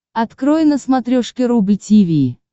открой на смотрешке рубль ти ви